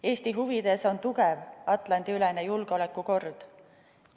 Eesti huvides on tugev Atlandi-ülene julgeolekukord.